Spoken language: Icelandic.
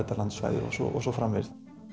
landslagið og svo og svo framvegis